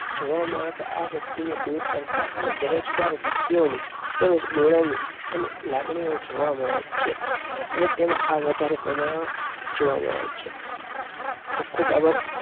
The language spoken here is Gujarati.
જવા માટે આ વ્યક્તિ ને દૂર કરતા અને બેરોજ ગાર વ્યક્તિઓની તેમજ બોલાની અને લાગણીઓ જોવા મળે છે. અને તેમાં આ વધારે પ્રમાણ માં જોવા મળે છે. ખુબ~ખુબ આભાર